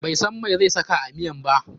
Bai san meh zai saka a miyan ba.